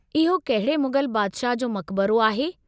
इहो कहिड़े मुग़ल बादिशाह जो मक़बरो आहे?